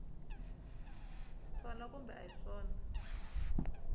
swona kumbe a hi swona